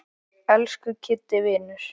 Elsku Kiddi vinur.